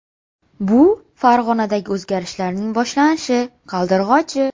Bu – Farg‘onadagi o‘zgarishlarning boshlanishi, qaldirg‘ochi.